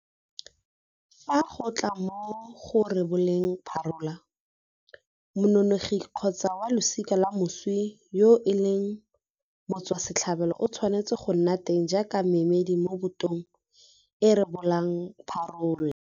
Fa go tla mo go reboleng parola, mongongoregi kgotsa wa losika la moswi yo e leng motswasetlhabelo o tshwanetse go nna teng jaaka kemedi mo botong e e rebolang parola.